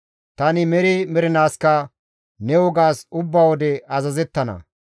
Tani meri mernaaskka ne wogaas ubba wode azazettana.